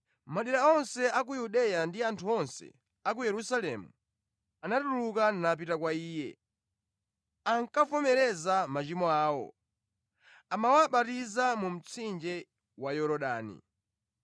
Madera onse a ku Yudeya ndi anthu onse a ku Yerusalemu anatuluka napita kwa iye. Akavomereza machimo awo, amawabatiza mu mtsinje wa Yorodani.